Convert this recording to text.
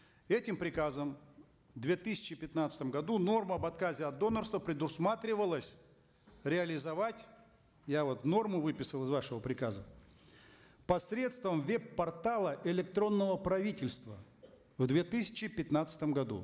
этим приказом в две тысячи пятнадцатом году норма об отказе от донорства предусматривалась реализовать я вот норму выписал из вашего приказа посредством веб портала электронного правительства в две тысячи пятнадцатом году